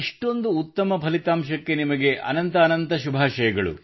ಇಷ್ಟೊಂದು ಉತ್ತಮ ಫಲಿತಾಂಶಕ್ಕೆ ನಿಮಗೆ ಅನಂತ ಻಻ಅನಂತ ಶುಭಾಷಯಗಳು